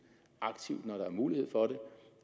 aktivt når der er mulighed for det